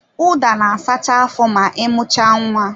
Ụda na-asacha afọ ma ị mucha nwa